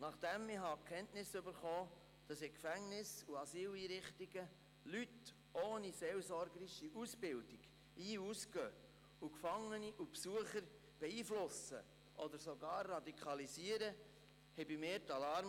Als ich Kenntnis davon erhielt, dass in Gefängnissen und Asyleinrichtungen Leute ohne seelsorgerische Ausbildung ein- und ausgehen und Gefangene sowie Besucher beeinflussen oder sogar radikalisieren, läuteten bei mir die Alarmglocken.